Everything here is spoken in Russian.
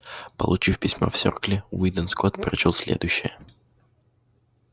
получив письмо в серкле уидон скотт прочёл следующее